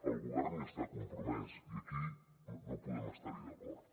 el govern hi està compromès i aquí no podem estar hi d’acord